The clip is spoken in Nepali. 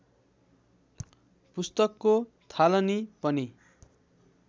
पुस्तकको थालनी पनि